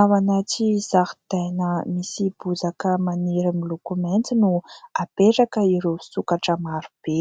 Ao anaty zaridaina misy bozaka maniry miloko mainty no apetraka ireo sokatra maro be.